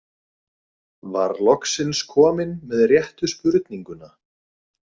Var loksins komin með réttu spurninguna.